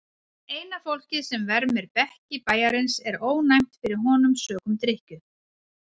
Eina fólkið sem vermir bekki bæjarins er ónæmt fyrir honum sökum drykkju.